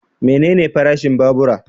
Menene farashin babura?